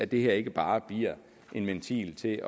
det her ikke bare bliver en ventil til